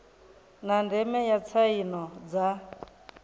na ndeme ya tsaino dza